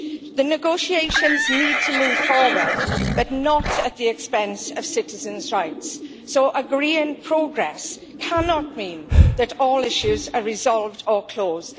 The negotiations need to move forward, but not at the expense of citizens' rights. So agreeing progress cannot mean that all issues are resolved or closed